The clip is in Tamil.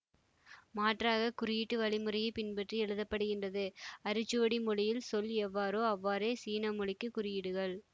மாற்றாக குறியீட்டு வழிமுறையைப் பின்பற்றி எழுதப்படுகின்றது அரிச்சுவடி மொழியில் சொல் எவ்வாறோ அவ்வாறே சீன மொழிக்கு குறியீடுகள்